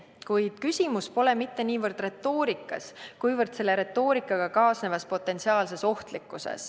Kuid küsimus pole mitte niivõrd retoorikas, kuivõrd selle retoorikaga kaasnevas potentsiaalses ohtlikkuses.